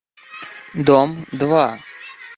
дом два